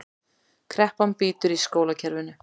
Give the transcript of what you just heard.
Kreppan bítur í skólakerfinu